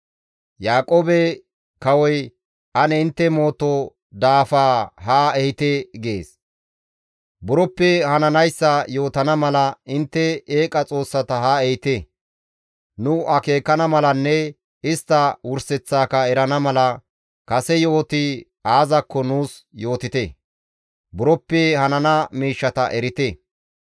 Buroppe hananayssa yootana mala intte eeqa xoossata haa ehite; nu akeekana malanne istta wurseththaaka erana mala kase yo7oti aazakko nuus yootite; buroppe hanana miishshata erite.